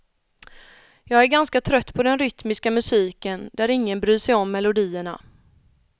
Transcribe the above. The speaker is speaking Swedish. Jag är ganska trött på den rytmiska musiken, där ingen bryr sig om melodierna.